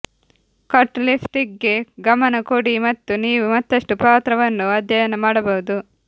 cut ಲಿಪ್ಸ್ಟಿಕ್ಗೆ ಗಮನ ಕೊಡಿ ಮತ್ತು ನೀವು ಮತ್ತಷ್ಟು ಪಾತ್ರವನ್ನು ಅಧ್ಯಯನ ಮಾಡಬಹುದು